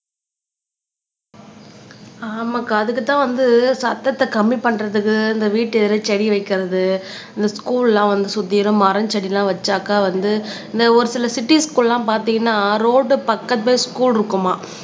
ஆமாக்கா அதுக்குத்தான் வந்து சத்தத்தை கம்மி பண்றதுக்கு இந்த வீட்டு செடி வைக்கிறது இந்த ஸ்க்கூல் எல்லாம் வந்து சுத்தியிலும் மரம் செடி எல்லாம் வச்சாக்க வந்து இந்த ஒரு சில சிட்டிஸ் குள்ள பார்த்தீங்கன்னா ரோடு பக்கத்துலயே ஸ்க்கூல் இருக்குமாம்